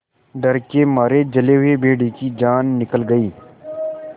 डर के मारे जले हुए भेड़िए की जान निकल गई